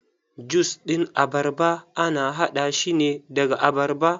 Jus ɗin abarba ana haɗa shine daga abarba.